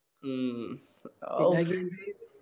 ഉം